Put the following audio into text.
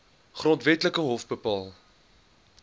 grondwetlike hof bepaal